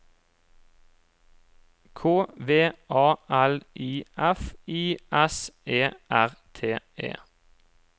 K V A L I F I S E R T E